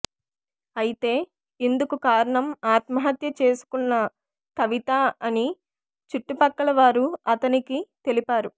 అయితే ఇందుకు కారణం ఆత్మహత్య చేసుకున్న కవిత అని చుట్టుపక్కల వారు అతనికి తెలిపారు